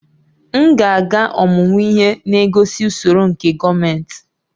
M ga-aga ọmụmụ ihe na-egosi usoro nke gọọmentị